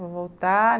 Vou voltar.